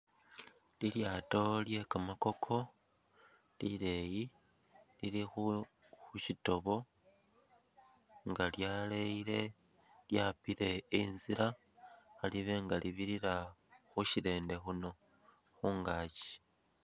Lilyato lye kamakoko lileyi lilikhu shitobo nga lyaleyile lyapile inzila khalibenga libirila khushirende khuno mungakyi.